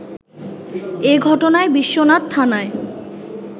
এ ঘটনায় বিশ্বনাথ থানায়